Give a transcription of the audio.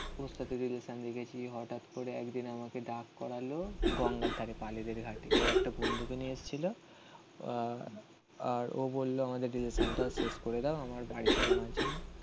Relation রেখেছি. হঠাৎ করে একদিন আমাকে ডাক করালো. গঙ্গার ধারে পালেদের ঘাটে. ও একটা বন্ধুকে নিয়ে এসছিল আহ আর ও বললো আমাদের রিলেশান টা শেষ করে দাও. আমার বাড়ি থেকে মানছে না.